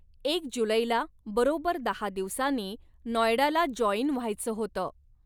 एक जुलैला बरोबर दहा दिवसांनी नॉयडाला जॉईन व्हायचं होतं.